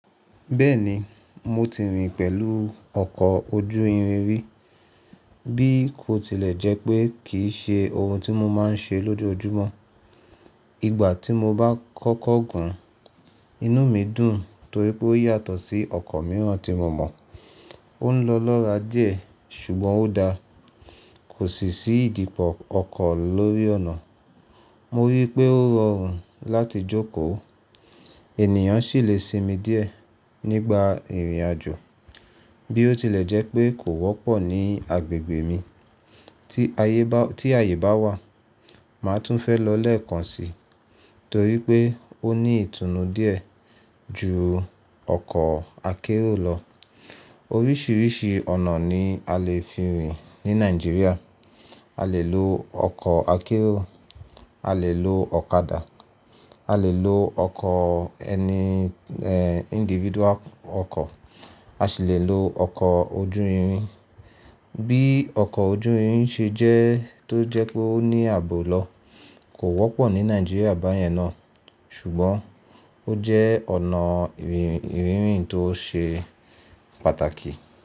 Bẹ́ẹ̀ni mo ti rìn pẹ̀lú ọkọ̀ ojú irin rí, bí kò tilẹ̀ jẹ́ pé kì í ṣe ohun tí mo máa ń ṣe lójoojúmọ́. Ìgbà tí mo bá kọ́kọ́ gùn, inú mi dùn torí pé ó yàtọ̀ sí ọkọ̀ mìíràn tí mo mọ̀. Ó ń lọ lọ́ra díẹ̀ ṣùgbọ́n ó dára. Kò sì sí ìdípò ọkọ̀ lórí ọ̀nà. Mo rí i pé ó rọrùn láti jókòó. Ènìyàn sì lè sinmi díẹ̀ nígbà ìrìn àjò bí ó tilẹ̀ jẹ́ pé kò wọ́pọ̀ ní agbègbè mi. Tí àyè bá wà, màá tún fẹ́ lọ lẹ́ẹ̀kan si torí pé ó ní ìtùnú díẹ̀ ju ọkọ̀ akérò lọ. Oríṣiríṣi ọ̀nà ni a lè fi rìn ní Nigeria. A lè lo ọkọ̀ akérò, a lè lo ọ̀kadà, a lè lo ọkọ̀ ẹni individual ọkọ̀, a sì lè lo ọkọ̀ ojú irin. Bí ọkọ̀ ojú irin ṣe jẹ́ tó jẹ́ pé ó ní ààbò lọ, kò wọ́pọ̀ ní Nigeria báyẹn náà ṣùgbọ́n ó jẹ́ ọ̀nà ìrìn tó ṣe pàtàkì.